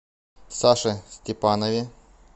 саше степанове